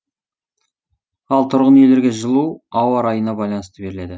ал тұрғын үйлерге жылу ауа райына байланысты беріледі